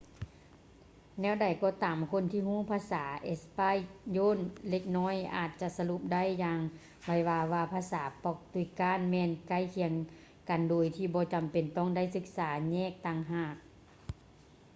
ແນວໃດກໍຕາມ ຄົນທີ່ຮູ້ພາສາເອສປາຍໂຍນເລັກນ້ອຍອາດຈະສະຫຼຸບໄດ້ຢ່າງໄວວາວ່າພາສາປອກຕຸຍການແມ່ນໃກ້ຄຽງກັນໂດຍທີ່ບໍ່ຈຳເປັນຕ້ອງໄດ້ສຶກສາແຍກຕ່າງຫາກ